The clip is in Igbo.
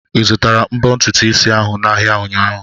Ị zụtara mbo ntutu isi ahụ n'ahịa ụnyaahụ?